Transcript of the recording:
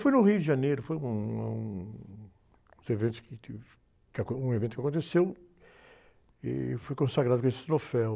Foi no Rio de Janeiro, foi um, ah, um, uns eventos que teve, um evento que aconteceu e fui consagrado com esse troféu.